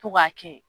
To ka kɛ